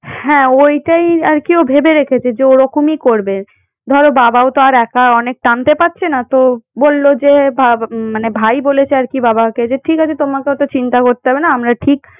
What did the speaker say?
হ্যাঁ ওইটাই আর কি ও ভেবে রেখেছে যে ওরকমই করবে। ধরো বাবাও আর একা অনেক টানতে পারছে না তো বলল যে ভা~ মানে ভাই বলেছে মানে বাবাকে যে ঠিক আছে তোমাকে ওতো চিন্তা করতে হবেনা আমরা ঠিক